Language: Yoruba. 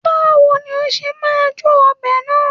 Báwo ni ó ṣe máa jó ọbẹ̀ náà?